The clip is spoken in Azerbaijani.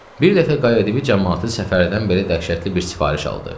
Bir dəfə Qayadibi camaatı Səfərdən belə dəhşətli bir sifariş aldı: